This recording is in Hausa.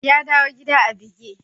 Ya dawo gida a buge.